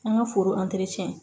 An ka foro